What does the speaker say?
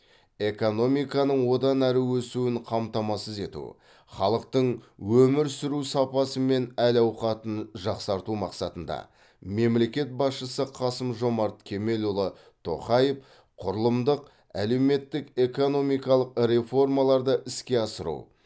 экономиканың одан әрі өсуін қамтамасыз ету халықтың өмір сүру сапасы мен әл ауқатын жақсарту мақсатында мемлекет басшысы қасым жомарт кемелұлы тоқаев құрылымдық әлеуметтік экономикалық реформаларды іске асыру